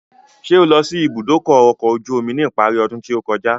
Ṣé o lọ sí ìbúdókọ̀ ọ̀kọ̀ ojú omi ní ìparí ọdún tí ó kọjá?